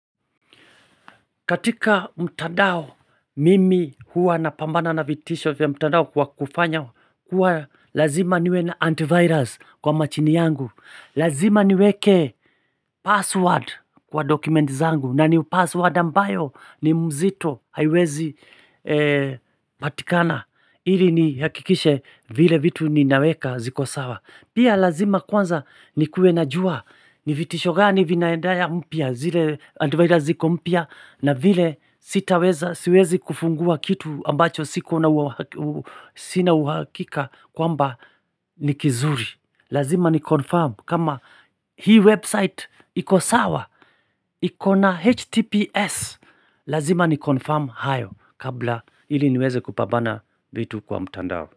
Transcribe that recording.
Katika mtandao, mimi hua na pambana na vitisho ya mtandao kwa kufanya, kuwa lazima niwe na antivirus kwa machini yangu. Lazima niweke password kwa dokumenti zangu, na ni password ambayo ni mzito haiwezi patikana, ili ni hakikishe vile vitu ni naweka zikosawa. Pia lazima kwanza ni kuenajua ni vitishogani vinaendaya mpya zile antivirous ziko mpya na vile sitaweza siwezi kufungua kitu ambacho siku una uhakika kwamba nikizuri. Lazima ni confirm kama hii website ikosawa ikona HTPS. Lazima ni confirm hayo kabla ili niweze kupambana vitu kwa mutandao.